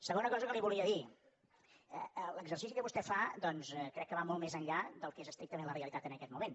segona cosa que li volia dir l’exercici que vostè fa doncs crec que va molt més enllà del que és estrictament la realitat en aquest moment